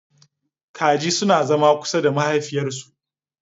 Kaji suna zama kusa da mahaifiyarsu.